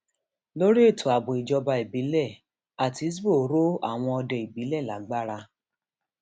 lórí ètò ààbò ìjọba ìbílẹ àtisbo rọ àwọn òde ìbílẹ lágbára